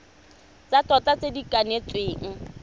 tsa tota tse di kanetsweng